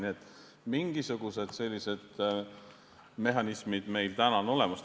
Nii et mingisugused mehhanismid meil täna olemas on.